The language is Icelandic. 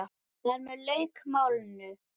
Þar með lauk málinu.